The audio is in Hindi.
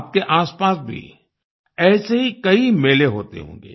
आपके आसपास भी ऐसे ही कई मेले होते होंगे